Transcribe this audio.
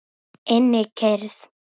Innri kyrrð.